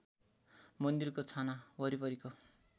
मन्दिरको छाना वरिपरिको